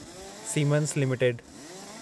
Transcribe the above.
siemens limited